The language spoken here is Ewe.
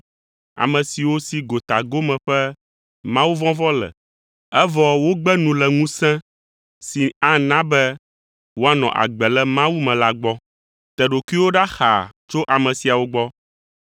ame siwo si gotagome ƒe mawuvɔvɔ̃ le, evɔ wogbe nu le ŋusẽ si ana be woanɔ agbe le Mawu me la gbɔ. Te ɖokuiwò ɖa xaa tso ame siawo gbɔ.